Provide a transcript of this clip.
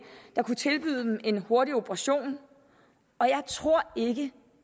der kunne tilbyde dem en hurtig operation jeg tror ikke